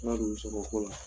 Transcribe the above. Ala de b'i sara o ko la